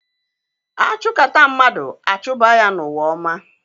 A chụkata mmadụ, a chụba ya n'ụwa ọma